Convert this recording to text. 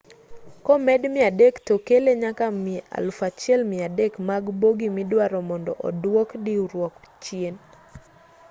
komed 300 tokele nyaka 1,300 mag bogi miduaro mondo odwok diruok chien